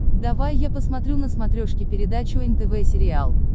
давай я посмотрю на смотрешке передачу нтв сериал